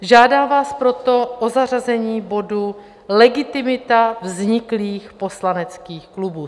Žádám vás proto o zařazení bodu Legitimita vzniklých poslaneckých klubů.